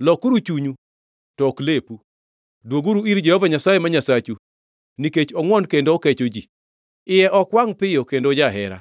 Lokuru chunyu, to ok lepu. Dwoguru ir Jehova Nyasaye, ma Nyasachu, nikech ongʼwon kendo okecho ji, iye ok wangʼ piyo kendo ojahera,